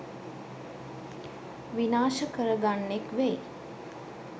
විනාශ කර ගන්නෙක් වෙයි.